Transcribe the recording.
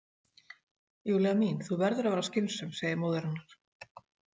Júlía mín, þú verður að vera skynsöm, segir móðir hennar.